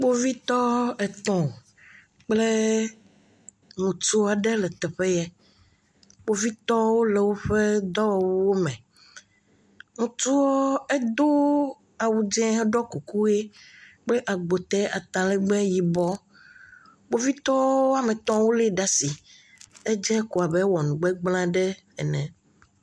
Kpovitɔ etɔ̃ kple ŋutsu aɖe le teƒe yɛ. Kpovitɔwo le woƒe awuwome. Ŋutsuɔ edooo awu dzẽ ɖɔ kuku ʋee kple agbotɛ atalɛgbɛ yibɔ. Kpovitɔwo woame etɔ̃ wolée ɖa asi. Edze abe ewɔ nugbegblẽ aɖe ene.